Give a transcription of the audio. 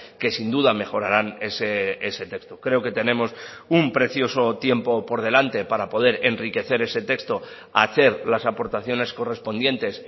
que sin duda mejoraran ese texto creo que tenemos un precioso tiempo por delante para poder enriquecer ese texto hacer las aportaciones correspondientes